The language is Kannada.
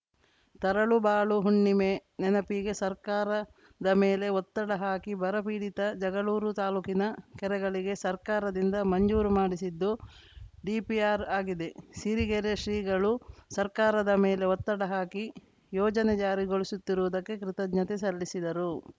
ತರಳುಬಾಳು ಹುಣ್ಣಿಮೆ ನೆನಪಿಗೆ ಸರ್ಕಾರದ ಮೇಲೆ ಒತ್ತಡ ಹಾಕಿ ಬರಪೀಡಿತ ಜಗಳೂರು ತಾಲೂಕಿನ ಕೆರೆಗಳಿಗೆ ಸರ್ಕಾರದಿಂದ ಮಂಜೂರು ಮಾಡಿಸಿದ್ದು ಡಿಪಿಆರ್‌ ಆಗಿದೆ ಸಿರಿಗೆರೆ ಶ್ರೀಗಳು ಸರ್ಕಾರದ ಮೇಲೆ ಒತ್ತಡ ಹಾಕಿ ಯೋಜನೆ ಜಾರಿಗೊಳಿಸುತ್ತಿರುವುದಕ್ಕೆ ಕೃತಜ್ಞತೆ ಸಲ್ಲಿಸಿದರು